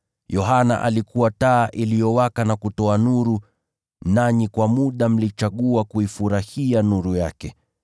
Yohana alikuwa taa iliyowaka na kutoa nuru, nanyi kwa muda mlichagua kuifurahia nuru yake.